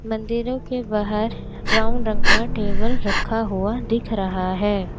मंदिरों के बाहर ब्राउन रंग का टेबल रखा हुआ दिख रहा है।